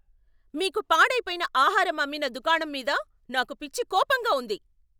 మీకు పాడైపోయిన ఆహారం అమ్మిన దుకాణం మీద నాకు పిచ్చి కోపంగా ఉంది.